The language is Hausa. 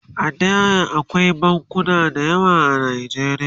A da akwai bankuna da yawa a najeriya